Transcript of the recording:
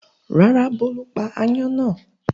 Rárá, Bólú pa aáyán náà.